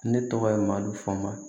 Ne tɔgɔ ye madu fu ma